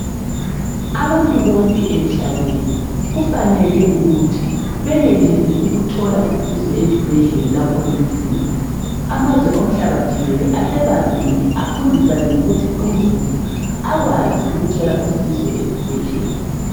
Abantu bonke emhlabeni kumele benelise ukuthola usizo ezibhedlela lapho belufuna. Amazwe omhlaba jikelele asebambene efundisane ngokuthi uzulu akwazi ukuthola usizo ezibhedlela.